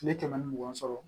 Tile kɛmɛ ni mugan sɔrɔ